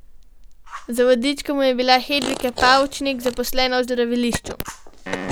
Za vodičko mu je bila Hedvika Pavčnik, zaposlena v zdravilišču.